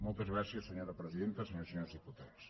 moltes gràcies senyora presidenta senyores i senyors diputats